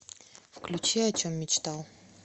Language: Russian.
включи о чем мечтал